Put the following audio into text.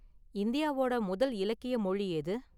இந்தியாவோட​ முதல் இலக்கிய​ மொழி எது?